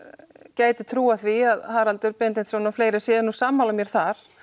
gæti trúað því að Haraldur Benediktsson og fleiri séu nú sammála mér þar